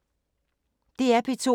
DR P2